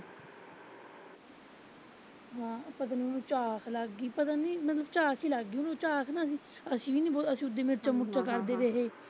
ਹਾਂ ਪਤਾ ਨੀ ਉਨੂੰ ਝਾਕ ਲੱਗਗੀ, ਪਤਾ ਨੀ ਉਨੂੰ ਝਾਕ ਹੀ ਲੱਗਗੀ, ਝਾਕ ਵੀ ਨਾ ਅਸੀਂ ਵੀ ਨੀ ਗੋ ਅਸੀਂ ਵੀ ਓਦੀ ਮਿਰਚਾਂ ਮੁਰਚਾਂ ਕਰਦੇ ਰਹੇ।